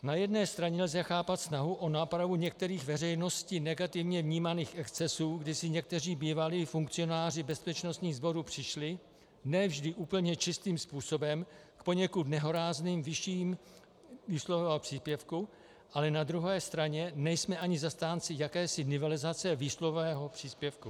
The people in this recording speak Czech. "Na jedné straně lze chápat snahu o nápravu některých veřejnosti negativně vnímaných excesů, kdy si někteří bývalí funkcionáři bezpečnostních sborů přišli ne vždy úplně čistým způsobem k poněkud nehorázným výším výsluhového příspěvku, ale na druhé straně nejsme ani zastánci jakési nivelizace výsluhového příspěvku.